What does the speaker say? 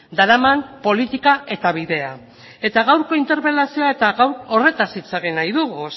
daraman politika eta bidea eta gaurko interpelazioan eta gaur horretaz hitz egin nahi dugu